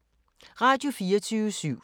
Radio24syv